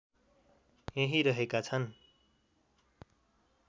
यहीँ रहेका छन्